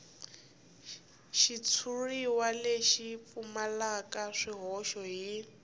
xitshuriwa lexi pfumalaka swihoxo hi